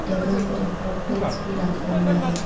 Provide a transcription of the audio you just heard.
Table के ऊपर plates भी रखा हुआ है।